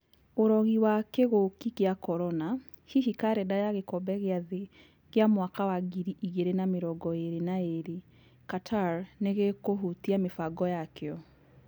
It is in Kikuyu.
ũrogi wa kĩgũki gĩa Korona. Hihi karenda ya gĩkombe gĩa thĩ gia mwaka wa ngiri igĩrĩ na mĩrongo ĩrĩ na ĩrĩ Qatar nĩgĩkũhutia mĩbango yakĩo.